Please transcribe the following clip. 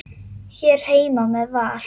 Hér heima með Val.